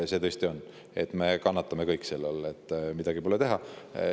Me kõik kannatame selle tõttu, midagi pole teha.